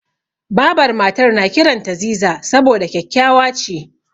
Babar Matar na kiranta Ziza saboda kyakkyawa ce.